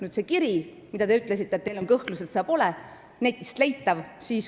Selle kirja kohta te ütlesite, et teil on kõhklusi, et see pole netist leitav.